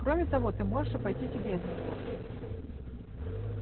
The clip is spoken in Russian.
кроме того ты можешь обойтись и без него